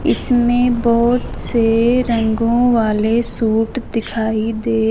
इसमें बहोत से रंगो वाले सूट दिखाई दे--